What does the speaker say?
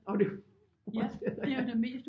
Og det fortsætter